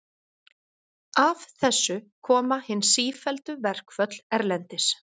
Af þessu koma hin sífelldu verkföll erlendis.